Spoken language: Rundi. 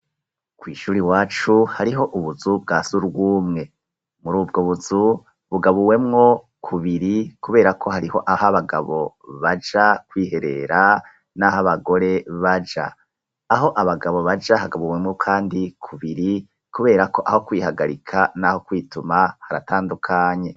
Kw'ishure iwacu, hariho ubuzu bwa surwumwe; muri ubwo buzu, bugabuwemwo kubiri, kubera ko, hariho aho abagabo baja kwiherera, n'aho abagore baja; aho abagabo baja hagabuwemwo kandi kubiri, kubera ko, aho kwihagarika, n'aho kwituma haratandukanye.